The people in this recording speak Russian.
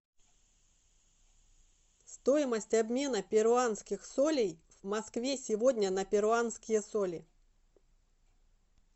стоимость обмена перуанских солей в москве сегодня на перуанские соли